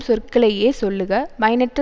சொற்களையே சொல்லுக பயனற்ற